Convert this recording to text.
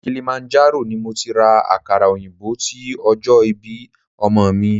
Kilimanjaro ni mo ti ra àkàrà òyìnbó ti ọjọ́ ìbí ọmọ mi.